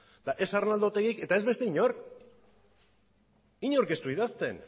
eta ez arnaldo otegik eta ez beste inork inork ez du idazten